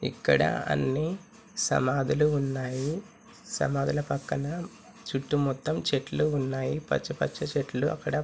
ఇక్కడ అన్ని సమాదులు ఉన్నాయి సమాదుల పక్కన చుట్టు మొత్తం చెట్లు ఉన్నాయి పచ్చ పచ్చ చెట్లు అక్కడ --